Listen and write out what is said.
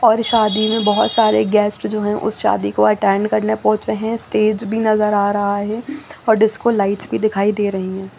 और शादी में बहुत सारे गेस्ट जो है उस शादी को अटेंड करने पहुंचे है। स्टेज भी नज़र आ रहा है और डिस्को लाइट्स भी दिखाई दे रही है।